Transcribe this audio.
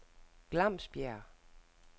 Glamsbjerg